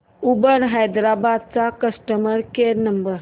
Uber Hyderabad चा customer care number